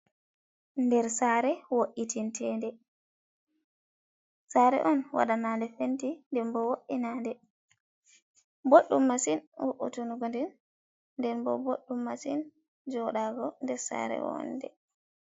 Nder saare wo’itinte nde. Saare on waɗana nde fenti, nden bo wo’inande. Boɗɗum masin wo’itangonde, nden bo boɗɗum masin jooɗago nder saare wonde.